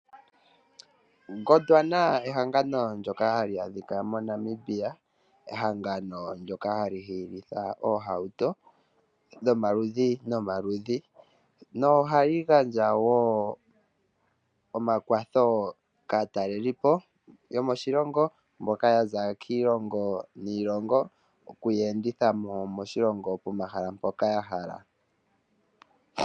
Gondwana ehangano ndyoka hali adhika moNamibia, ehangano ndyoka hali hilitha oohauto dhomaludhi no maludhi. No hali gandja wo omakwatho kaatalelipo yomoshilongo mboka yaza kiilongo niilongo okuya enditha mo moshilongo pomahala mpoka ya hala.